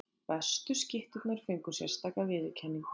Bestu skytturnar fengu sérstaka viðurkenningu.